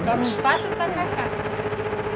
Só não faço tacacá.